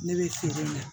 Ne bɛ feere in na